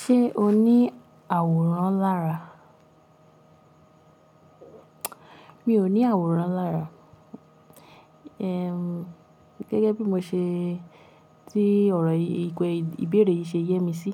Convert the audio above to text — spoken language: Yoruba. Ṣé o ní àwòrán lára? Mi ò ní àwòrán lára. Ehn, gẹ́gẹ́ bí mo ṣe tí ọ̀rọ̀ yii ìbèẹrè yìí ṣe yẹ mí sí.